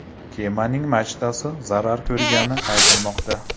Kemaning machtasi zarar ko‘rgani aytilmoqda.